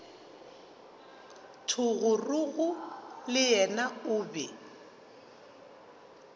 thogorogo le yena o be